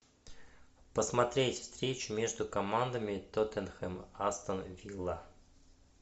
посмотреть встречу между командами тоттенхэм астон вилла